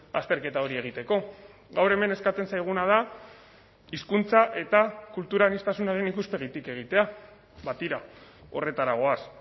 azterketa hori egiteko gaur hemen eskatzen zaiguna da hizkuntza eta kultura aniztasunaren ikuspegitik egitea ba tira horretara goaz